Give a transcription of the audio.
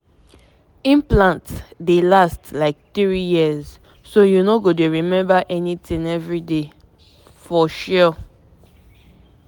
implant dey drop hormone small-small e just dey make you rest for years.